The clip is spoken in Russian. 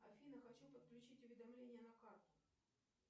афина хочу подключить уведомления на карту